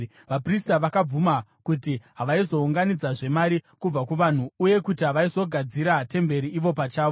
Vaprista vakabvuma kuti havaizounganidzazve mari kubva kuvanhu uye kuti havaizogadzira temberi ivo pachavo.